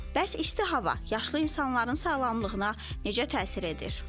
Bəs isti hava yaşlı insanların sağlamlığına necə təsir edir?